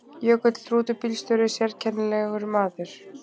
Jökull rútubílstjóri sérkennilegur maður.